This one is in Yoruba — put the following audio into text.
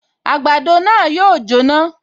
Àgbàdo náà yóò jóná